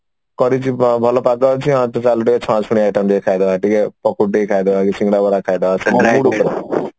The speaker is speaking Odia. କରିଯିବା ଭଲ ପାଗ ଅଛି ହଁ ତ ଚାଲ ଟିକେ ଛଣାଛଣି item ଟିକେ ଖାଇଦବା ଟିକେ ପକୁଡି ଟିକେ ଖାଇଦବା କି ଶିଙ୍ଗଡା ବରା ଖାଇଦବା